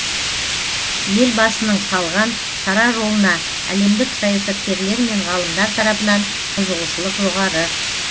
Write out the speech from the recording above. елбасының салған сара жолына әлемдік саясаткерлер мен ғалымдар тарапынан қызығушылық жоғары